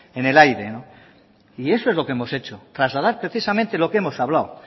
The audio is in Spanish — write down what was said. en el aíre no y eso es lo que hemos hecho trasladar precisamente lo que hemos hablado